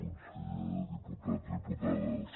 conseller diputats diputades